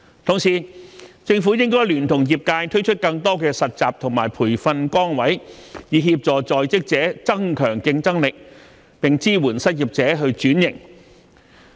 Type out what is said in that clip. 同時，政府應聯同業界推出更多實習和培訓崗位，以協助在職者增強競爭力，並支援失業者轉型。